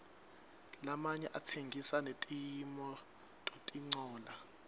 lamanye atsengisa netimototincola